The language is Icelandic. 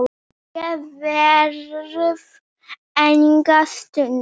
Ég verð enga stund!